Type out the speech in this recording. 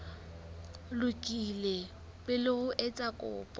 lokile pele o etsa kopo